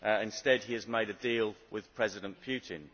instead, he has made a deal with President Putin.